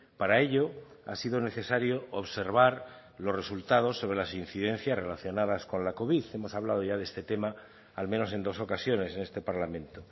para ello ha sido necesario observar los resultados sobre las incidencias relacionadas con la covid hemos hablado ya de este tema al menos en dos ocasiones en este parlamento